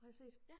Har jeg set